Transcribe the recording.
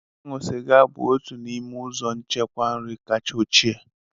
Ịṅụ sịga bụ otu n'ime ụzọ nchekwa nri kacha ochie